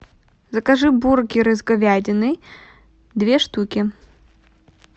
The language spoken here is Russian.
закажи бургеры с говядиной две штуки